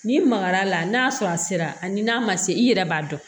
N'i magar'a la n'a sɔrɔ a sera ani n'a ma se i yɛrɛ b'a dɔn